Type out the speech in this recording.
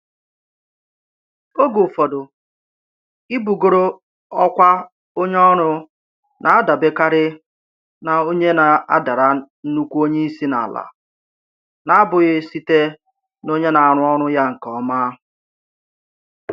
Oge ụfọdụ, ibugoro ọkwa onye ọrụ na-adabekarị na onye na-adara nnukwu onye isi n'ala n'abụghị site n'onye na-arụ ọrụ ya nke ọma